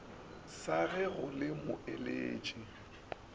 sa ge go le moeletši